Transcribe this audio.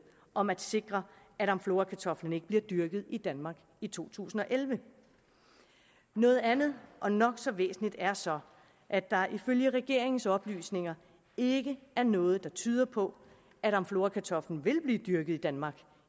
om at sikre at amflorakartoflen ikke bliver dyrket i danmark i to tusind og elleve noget andet og nok så væsentligt er så at der ifølge regeringens oplysninger ikke er noget der tyder på at amflorakartoflen vil blive dyrket i danmark